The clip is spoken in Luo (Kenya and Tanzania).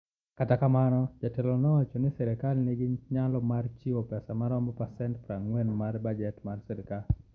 Kata kamano, jatelono nowacho ni sirkal nigi nyalo mar chiwo pesa maromo pasent 40 mar bajet mar sirkal.